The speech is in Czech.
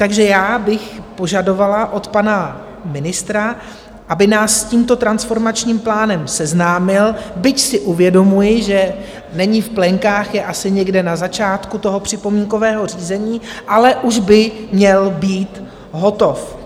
Takže já bych požadovala od pana ministra, aby nás s tímto transformačním plánem seznámil, byť si uvědomuji, že není v plenkách, je asi někde na začátku toho připomínkového řízení, ale už by měl být hotov.